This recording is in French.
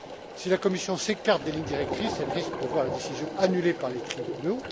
Si la Commission s'écarte des lignes directrices, elle risque de voir les décisions annulées par les tribunaux.